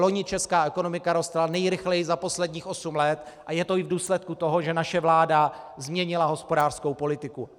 Vloni česká ekonomika rostla nejrychleji za posledních osm let a je to i v důsledku toho, že naše vláda změnila hospodářskou politiku.